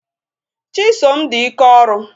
Chisom di ike ọrụ.